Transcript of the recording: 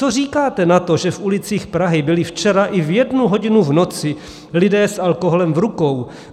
Co říkáte na to, že v ulicích Prahy byly včera i v jednu hodinu v noci lidé s alkoholem v rukou?